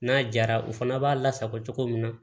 N'a jara u fana b'a lasago cogo min na